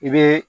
I bɛ